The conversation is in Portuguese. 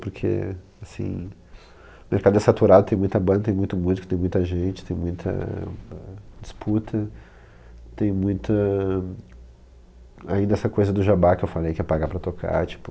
Porque o mercado é saturado, tem muita banda, tem muita música, tem muita gente, tem muita, ãh disputa, tem muita... Ainda essa coisa do jabá que eu falei, que é pagar para tocar, tipo...